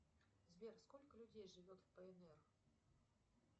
сбер сколько людей живет в пнр